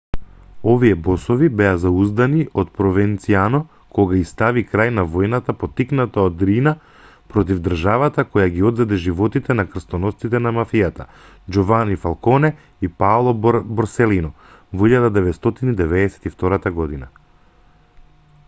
овие босови беа зауздани од провенцано кога ѝ стави крај на војната поттикната од риина против државата која ги одзеде животите на крстоносците на мафијата џовани фалконе и паоло борселино во 1992 година.